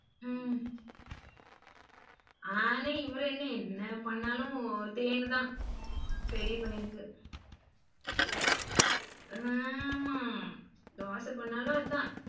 உம் ஆனா இவரு என்ன பண்ணாலும் ஒத்தேனு தான் பெரிய பையனுக்கு ஆமா தோச பண்ணாலும் அதான்.